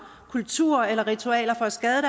kultur eller ritualer for at skade